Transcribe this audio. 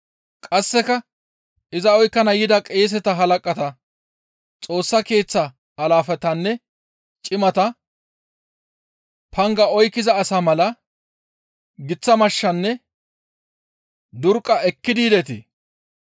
Qasseka iza oykkana yida qeeseta halaqata Xoossa Keeththa alaafetanne cimata, «Panga oykkiza asa mala giththa mashshanne durqqa ekkidi yidetii?